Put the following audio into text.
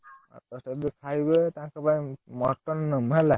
ଆଠ ଦଶ ଟା ବି ଖାଇବେ, ତାଙ୍କ ପାଇଁ mutton ନମୁ ହେଲା।